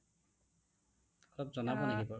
অলপ জনাব নেকি বাৰু